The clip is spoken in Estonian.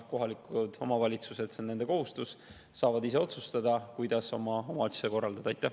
Kohalikud omavalitused – see on nende kohustus – saavad ise otsustada, kuidas oma omavalitsust korraldada.